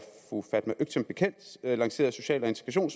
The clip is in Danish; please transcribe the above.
fru fatma øktem bekendt lancerede social og